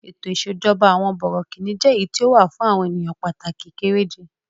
Ètò ìṣèjọba àwọn bọ̀rọ̀kìní jẹ́ èyí tí ó wà fún àwọn ènìyàn pàtàkì kéré je.